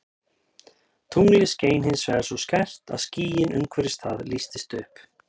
Tunglið skein hins vegar svo skært að skýin umhverfis það lýstust upp.